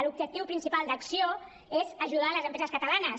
l’objectiu principal d’acció és ajudar les empreses catalanes